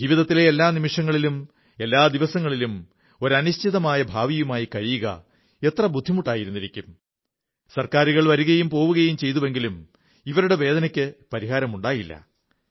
ജീവിതത്തിലെ എല്ലാ നിമിഷങ്ങളിലും എല്ലാ ദിവസങ്ങളിലും ഒരു അനിശ്ചിതമായ ഭാവിയുമായി കഴിയുക എത്ര ബുദ്ധിമുട്ടായിരുന്നിരിക്കും സർക്കാരുകൾ വരുകയും പോവുകയും ചെയ്തുവെങ്കിലും ഇവരുടെ വേദനയ്ക്ക് പരിഹാരമുണ്ടായിരുന്നില്ല